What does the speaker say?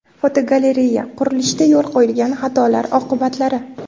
Fotogalereya: Qurilishda yo‘l qo‘yilgan xatolar oqibatlari.